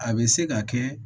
A bɛ se ka kɛ